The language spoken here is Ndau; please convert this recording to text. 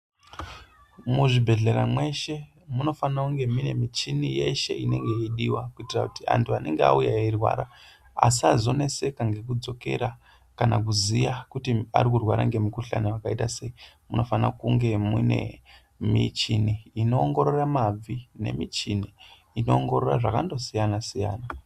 Muzvibhedhlera mweshe munofana kunge mune muchini yeshe inenge yeidiwa, kuitira kuti antu anonga auya eirwara asazoneseka ngekudzokera kana kuziya kuti arikurwarwara ngemukhuhlane yakaita sei. Munofana kunga mune michini inoongorora mabvi nemichini inoongorora zvakasiyana -siyana.